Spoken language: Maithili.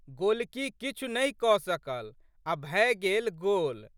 गोलकी किछु नहि के सकल आ' भए गेल गोल।